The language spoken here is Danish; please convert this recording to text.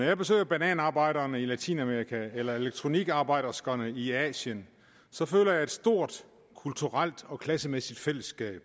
jeg besøger bananarbejderne i latinamerika eller elektronikarbejderne i asien så føler jeg et stort kulturelt og klassemæssigt fællesskab